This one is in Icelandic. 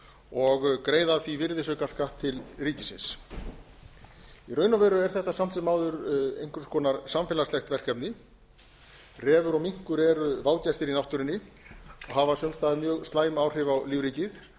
og greiða af því virðisaukaskatt til ríkisins í raun og veru er þetta samt sem áður einhvers konar samfélagslegt verkefni refur og minkur eru vágestir í náttúrunni og hafa sums staðar mjög slæm áhrif á lífríkið